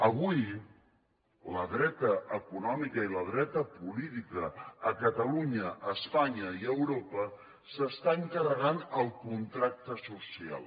avui la dreta econòmica i la dreta política a catalunya a espanya i a europa s’estan carregant el contracte social